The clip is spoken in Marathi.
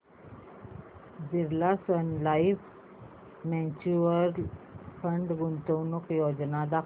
Birla Sun Life mutual fund गुंतवणूक योजना दाखव